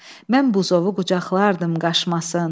Mən buzovu qucaqlardım qaçmasın.